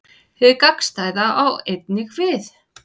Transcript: Hið gagnstæða á einnig við.